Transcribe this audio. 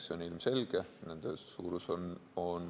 See on ilmselge.